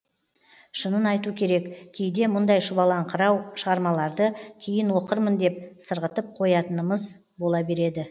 шынын айту керек кейде мұндай шұбалаңқырау шығармаларды кейін оқырмын деп сырғытып қоятынымыыз бола береді